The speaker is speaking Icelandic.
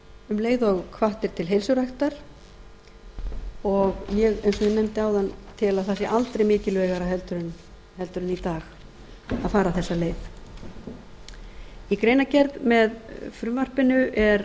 um leið og hvatt er til heilsuræktar og ég eins og ég nefndi áðan tel að það sé aldrei mikilvægar heldur en í dag að fara þessa leið í greinargerð með frumvarpinu er